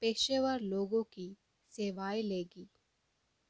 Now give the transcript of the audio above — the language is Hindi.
पेशेवर लोगों की सेवाएं लेगी